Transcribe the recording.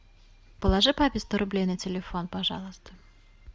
положи папе сто рублей на телефон пожалуйста